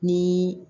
Ni